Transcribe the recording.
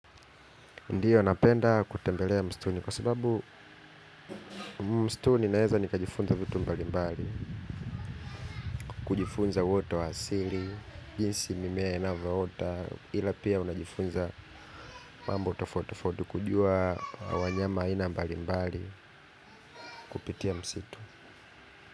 Ndiyo, napenda kutembelea mstuni kwa sababu mstuni naeza nikajifunza vitu mbalimbali, kujifunza uoto wa asili, jinsi mimea inavoota, ila pia unajifunza mambo tafauti tofauti kujua wanyama aina mbalimbali kupitia msitu.